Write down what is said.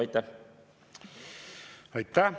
Aitäh!